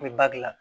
U bɛ ba dilan